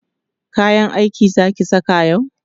kayan aiki Zaki saka yau?